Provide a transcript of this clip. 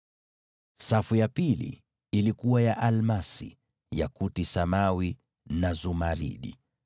safu ya pili ilikuwa na almasi, yakuti samawi na zumaridi;